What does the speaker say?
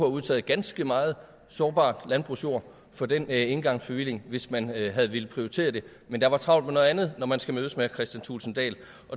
udtaget ganske meget sårbart landbrugsjord for den engangsbevilling hvis man havde havde villet prioritere det men der var travlt med noget andet når man skulle mødes med herre kristian thulesen dahl